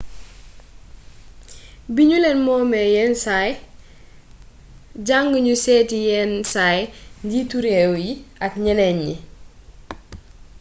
bignulén moomé yén say diangnu sééti yénn say njiitu rééw yi ak gnénén gni